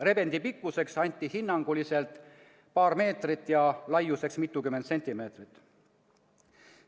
Rebendi pikkuseks anti hinnanguliselt paar meetrit ja laiuseks mitukümmend sentimeetrit.